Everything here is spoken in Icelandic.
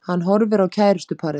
Hann horfir á kærustuparið.